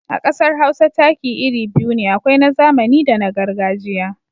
A ƙasar Hausa taki iri biyu ne, akwai na zamani da na gargajiya.